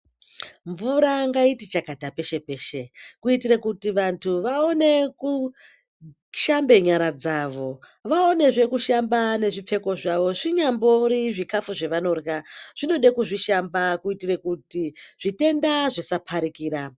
Mvura ngaiti chakata peshe-peshe kuitire kuti vantu vaone kushambe nyara dzavo, vaonezve kushamba nezvipfeko zvavo. Zvinyambori zvikafu zvevanorya, zvinode kuzvishamba kuitire kuti zvitenda zvisapfarikira.